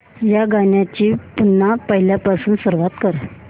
या गाण्या ची पुन्हा पहिल्यापासून सुरुवात कर